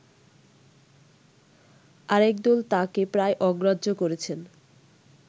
আরেকদল তাঁকে প্রায় অগ্রাহ্য করেছেন